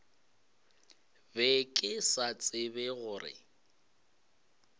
be ke sa tsebe gore